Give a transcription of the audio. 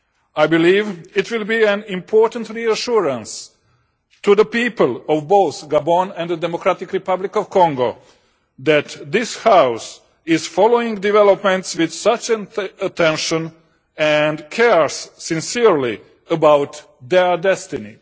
I believe it will be an important reassurance to the people of both Gabon and the Democratic Republic of Congo that this House is following developments with such attention and cares sincerely about their destiny.